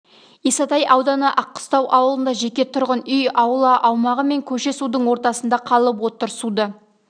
исатай ауданы аққыстау ауылында жеке тұрғын үй аула аумағы мен көше судың ортасында қалып отыр суды